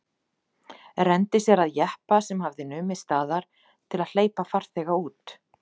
Renndi sér að jeppa sem hafði numið staðar til að hleypa farþega út.